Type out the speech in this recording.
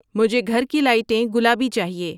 مجھے گھر کی لائٹیں گلابی چاہیئے